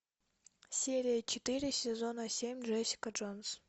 серия четыре сезона семь джессика джонс